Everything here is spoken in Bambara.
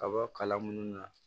Kaba kala munnu na